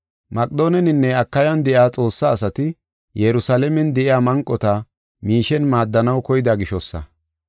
Maqedoonenne Akayan de7iya Xoossa asati, Yerusalaamen de7iya manqota miishen maaddanaw koyida gishosa.